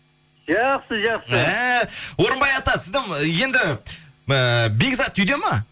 жақсы жақсы әәә орынбай ата сіздің енді ііі бекзат үйде ма